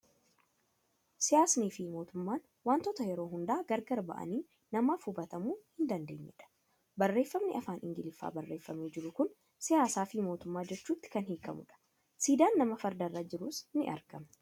Siyaasnii fi mootummaan waantota yeroo hundaa gargar ba'anii namaaf hubatamuu hin dandeenye dha. Barreeffamni afaan Ingiliffaan barreeffamee jiru kun 'Siyaasaa fi Mootummaa ' jechuutti kan hiikamudha. Siidaan nama farda irra jiruus ni argama.